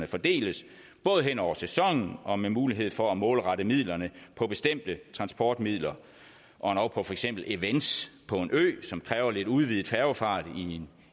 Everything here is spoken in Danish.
fordeles både hen over sæsonen og med mulighed for at målrette midlerne på bestemte transportmidler og endog på for eksempel events på en ø som kræver lidt udvidet færgefart